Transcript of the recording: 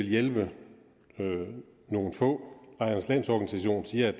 hjælpe nogle få lejernes landsorganisation siger